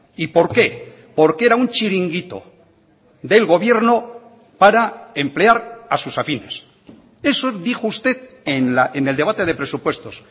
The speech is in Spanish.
y por qué porque era un chiringuito del gobierno para emplear a sus afines eso dijo usted en el debate de presupuestos